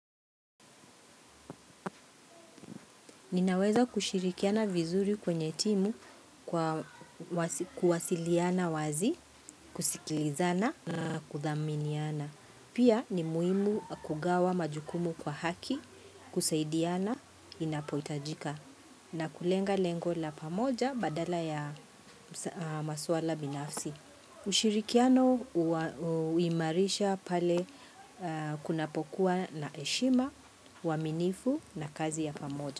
Ninaweza kushirikiana vizuri kwenye timu kwa kuwasiliana wazi, kusikilizana na kudhaminiana. Pia ni muhimu kugawa majukumu kwa haki, kusaidiana, inapohitajika. Na kulenga lengo la pamoja badala ya maswala binafsi. Ushirikiano huimarisha pale kunapokua na heshima, waaminifu na kazi ya pamoja.